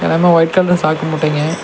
எல்லாமே white colour சாக்கு மூட்டைங்க.